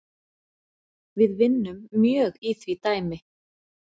Við vinnum mjög í því dæmi